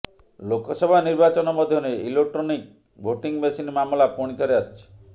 ଲୋକସଭା ନିର୍ବାଚନ ମଧ୍ୟରେ electronic voting machine ମାମଲା ପୁଣି ଥରେ ଆସିଛି